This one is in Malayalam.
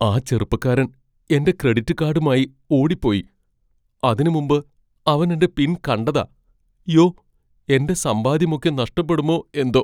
ആ ചെറുപ്പക്കാരൻ എന്റെ ക്രെഡിറ്റ് കാഡുമായി ഓടിപ്പോയി. അതിനുമുമ്പ് അവൻ എന്റെ പിൻ കണ്ടതാ. യ്യോ, എന്റെ സമ്പാദ്യമൊക്കെ നഷ്ടപ്പെടുമോ എന്തോ.